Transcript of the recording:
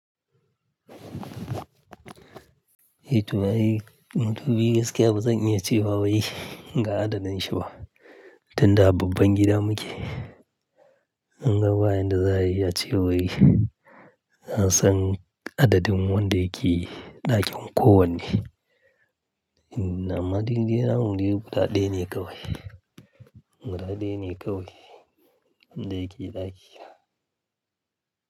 Eh to ai, muntumbi gaskiya ba zan iya ce wa wai ga adadin shi ba, tunda a babban gida muke. In ga bayan da za ayi, a ce wai za a san adadin wanda yake ɗakin kowanne. Amma dai dai na mu dai guda ɗaya ne kawai, guda ɗaya ne kawai wanda yake ɗaki.